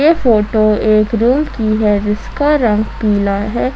ये फोटो एक रूम की है जिसका रंग पीला है।